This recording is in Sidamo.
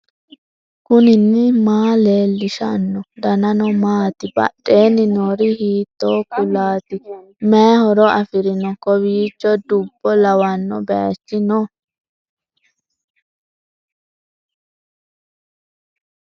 knuni maa leellishanno ? danano maati ? badheenni noori hiitto kuulaati ? mayi horo afirino ? kowiicho dubbo lawanno baychi no